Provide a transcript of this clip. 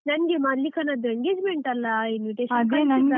ನನ್ಗೆ ಮಲ್ಲಿಕನದ್ದು engagement ಅಲ್ಲ, .